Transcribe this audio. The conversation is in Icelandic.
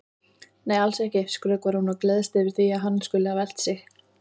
Nei, alls ekki, skrökvar hún og gleðst yfir því að hann skuli hafa elt sig.